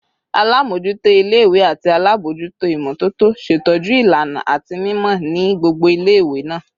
Alamojuto ile-iwe ati alabojuto imototo ṣetọju ilana ati mimọ ni gbogbo ile-iwe naa